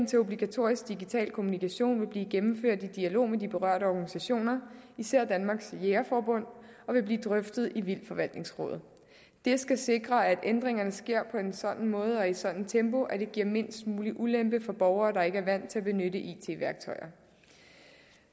til obligatorisk digital kommunikation vil blive gennemført i dialog med de berørte organisationer især danmarks jærgerforbund og vil blive drøftet i vildtforvaltningsrådet det skal sikre at ændringerne sker på en sådan måde og i et sådant tempo at det giver mindst muligt ulempe for borgere der ikke er vant til at benytte it værktøjer